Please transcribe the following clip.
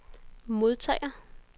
modtager